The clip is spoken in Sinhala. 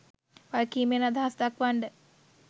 වගකීමෙන් අදහස් දක්වන්ඩ